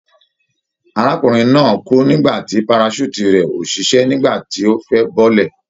Arákùnrin náà kú nígbà tí parachute rẹ̀ ò ṣiṣẹ́ nígbà tí ó fẹ́ bọ́lẹ̀.